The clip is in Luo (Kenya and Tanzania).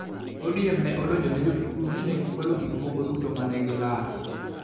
ODM ne odonjone jo-Kikuyu ni ne gikwalo gik moko duto ma ne gilalo.